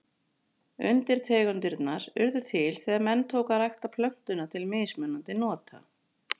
Undirtegundirnar urðu til þegar menn tóku að rækta plöntuna til mismunandi nota.